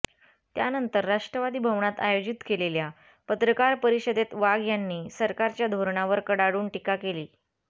त्यानंतर राष्ट्रवादी भवनात आयोजित केलेल्या पत्रकार परिषदेत वाघ यांनी सरकारच्या धोरणावर कडाडून टीका केली